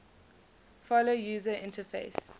follow user interface